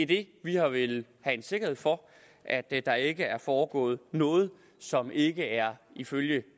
det vi har villet have en sikkerhed for er at der ikke er foregået noget som ikke er ifølge